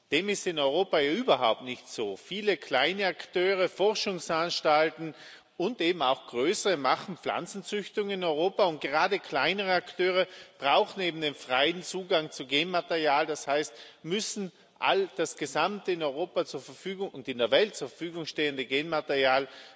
Dem ist in Europa überhaupt nicht so. Viele kleine Akteure, Forschungsanstalten und eben auch größere machen Pflanzenzüchtung in Europa, und gerade kleinere Akteure brauchen eben den freien Zugang zu Genmaterial, das heißt, sie müssen das gesamte in Europa und in der Welt zur Verfügung stehende Genmaterial